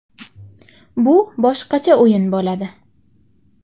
Bu boshqacha o‘yin bo‘ladi.